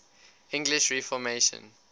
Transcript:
english reformation